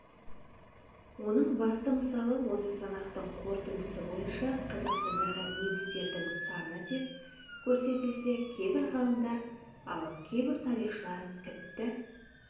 оның басты мысалы осы санақтың қорытындысы бойынша қазақстандағы немістердің саны деп көрсетілсе кейбір ғалымдар ал кейбір тарихшылар тіпті